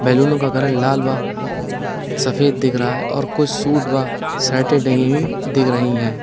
बैलूनों का कलर लाल बा सफेद दिख रहा है और कुछ शूट बा शर्टें टंगी हुईं दिख रही हैं।